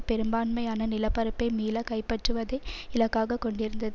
பெரும்பான்மையான நிலப்பரப்பை மீள கைப்பற்றுவதை இலக்காக கொண்டிருந்தது